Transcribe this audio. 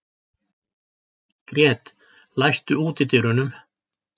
Grét, læstu útidyrunum.